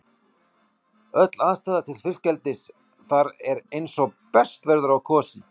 Öll aðstaða til fiskeldis þar er eins og best verður á kosið.